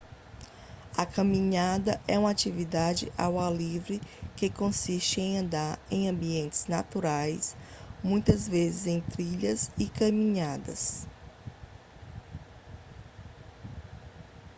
a caminhada é uma atividade ao ar livre que consiste em andar em ambientes naturais muitas vezes em trilhas de caminhada